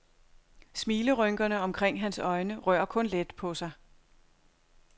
Smilerynkerne omkring hans øjne rører kun let på sig.